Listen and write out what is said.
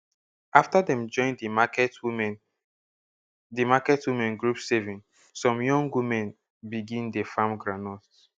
after dem join di market women di market women group saving some young women begin dey farm groundnut